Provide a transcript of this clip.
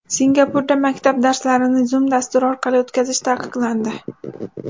Singapurda maktab darslarini Zoom dasturi orqali o‘tkazish taqiqlandi.